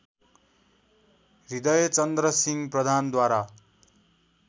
हृदयचन्द्रसिंह प्रधानद्वारा